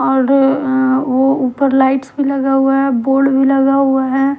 और अ ओ ऊपर लाइट्स भी लगे हुए है बोर्ड भी लगे हुए है।